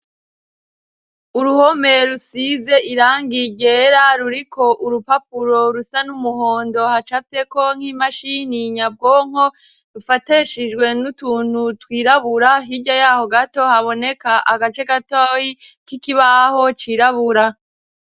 Uruhome rusize irangi ryera, ruriko urupapuro rusa n'umuhondo, hacafyeko n'imashini nyabwonko, rufatishijwe n'utuntu twirabura, hirya yaho gato haboneka agace gatoyi k'ikibaho cirabura.